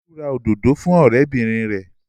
Olú ra òdòdó fún ọ̀rẹ́bìnrin rẹ̀.